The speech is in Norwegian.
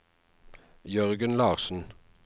Jørgen Larssen